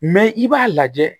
Mɛ i b'a lajɛ